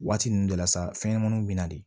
Waati ninnu de la sa fɛnɲɛnɛmaninw bɛ na de